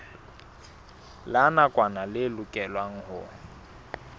la nakwana le lokelwang ho